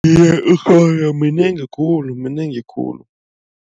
Ikhona minengi khulu, minengi khulu.